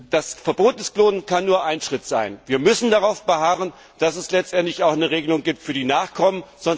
Das Klonverbot kann nur ein Schritt sein. Wir müssen darauf beharren, dass es letztendlich auch eine Regelung gibt für die Nachkommen.